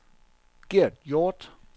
Gert Hjorth